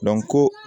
ko